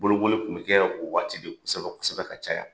Bolokoli tun bɛ kɛ o waati de kosɛbɛ kosɛbɛ ka caya.